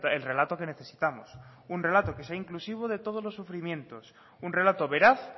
el relato que necesitamos un relato que sea inclusivo de todos los sufrimientos un relato veraz